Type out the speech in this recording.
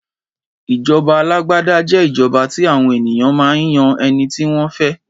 Ìjọba àlàgbàdà jẹ́ ìjọba tí àwọn ènìyàn máa ń yan ẹniti wọn fẹ.